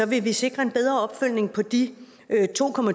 vil vi sikre en bedre opfølgning på de